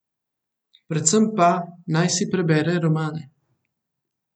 Predvsem pa, predvsem naj si prebere romane.